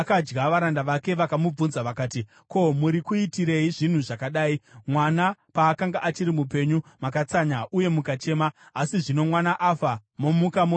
Varanda vake vakamubvunza vakati, “Ko, muri kuitirei zvinhu zvakadai? Mwana paakanga achiri mupenyu makatsanya uye mukachema, asi zvino mwana afa, momuka modya!”